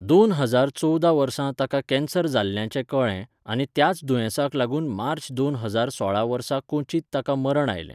दोन हजार चोवदा वर्सा ताका कॅन्सर जाल्ल्याचें कळ्ळें आनी त्याच दुयेंसाक लागून मार्च दोन हजार सोळा वर्सा कोच्चींत ताका मरण आयलें.